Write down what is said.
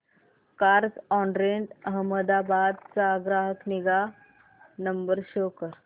Carzonrent Ahmedabad चा ग्राहक निगा नंबर शो कर